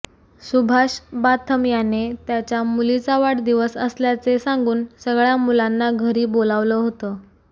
सुभाष बाथम याने त्याच्या मुलीचा वाढदिवस असल्याचे सांगून सगळ्या मुलांना घरी बोलावलं होतं